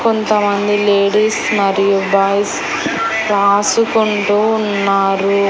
కొంతమంది లేడీస్ మరియు బాయ్స్ రాసుకుంటూ ఉన్నారు.